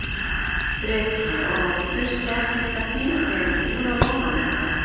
Breki: Og þurfti ekkert að pína þig úr að ofan, eða?